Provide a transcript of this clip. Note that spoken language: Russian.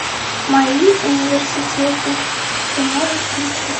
мои университеты ты можешь включить